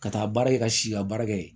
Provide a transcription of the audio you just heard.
Ka taa baara kɛ ka si ka baara kɛ yen